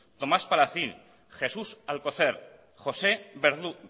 tomás palacín jesús alcocer josé verdú